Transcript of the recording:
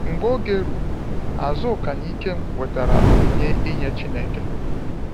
Mgbe oge ruru, Azuka na Ikem wetara onyinye nye Chineke.